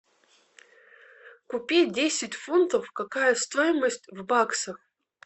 купить десять фунтов какая стоимость в баксах